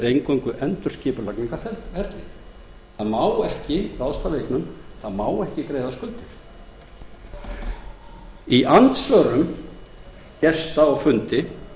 eingöngu endurskipulagningarferli það má ekki ráðstafa eignum það má ekki greiða skuldir í andsvörum gesta á fundi